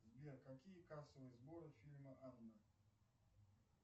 сбер какие кассовые сборы фильма анна